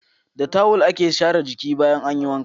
Da tawul ake share jiki bayan an yi wanka.